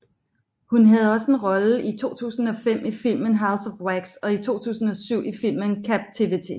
Hun havde også en rolle i 2005 i filmen House of Wax og i 2007 i filmen Captivity